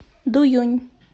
дуюнь